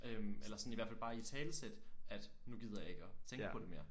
Øh eller sådan i hvert fald bare italesætte at nu gider jeg ikke at tænke på det mere